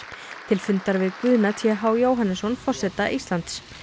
til fundar við Guðna t h Jóhannesson forseta Íslands